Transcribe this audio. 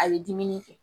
A bɛ dumuni kɛ